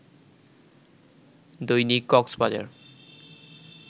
Dainik Cox's Bazar